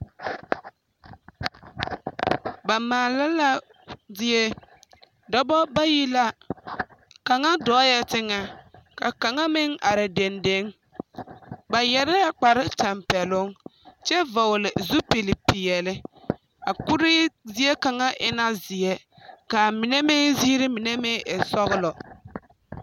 Ba maala la zie. Dɔba bayi la kaŋa dɔɔɛ teŋɛ ka kaŋa meŋ are dendeŋe. Ba yɛrɛɛ kpare tampɛloŋ kyɛ vɔgele zupili peɛle a kuri zie kaŋ e na zeɛ ka mine meŋ ziiri mine meŋ e sɔgelɔ